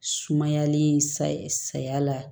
Sumayalen sa saya la